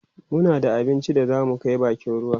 muna dafa abincin da zamu Kai bakin ruwa